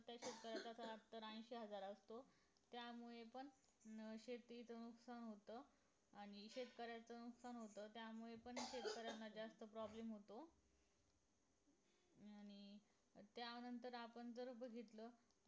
ऐशी हजार असो त्यामुळे पण अं शेतीच नुकसान होत आणि शेतकऱ्याचं नुकसान होत त्यामुळे पण शेतकऱ्यांना जास्त problem होतो आणि त्या नंतर आपण जर बघितलं